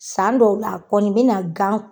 San dɔw la kɔni bina gan